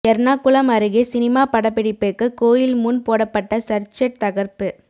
எர்ணாகுளம் அருகே சினிமா படப்பிடிப்புக்கு கோயில் முன் போடப்பட்ட சர்ச் செட் தகர்ப்பு